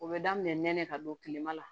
O bɛ daminɛ nɛnɛ ka don tilema la